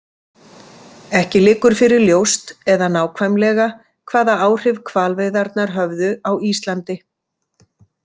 Ekki liggur fyrir ljóst eða nákvæmlega hvaða áhrif hvalveiðarnar höfðu á Íslandi.